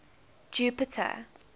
jupiter